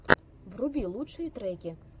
вруби лучшие треки